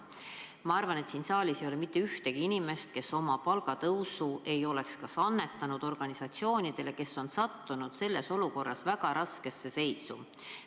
Ma arvan, et siin saalis ei ole mitte ühtegi inimest, kes oma palgatõusu summat ei oleks annetanud organisatsioonidele, kes on sattunud selles olukorras väga raskesse seisu.